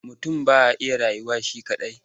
Mutum ba ya iya rayuwa shi kaɗai.